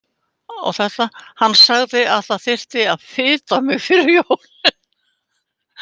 Hann sagði að það þyrfti að fita mig fyrir jólin.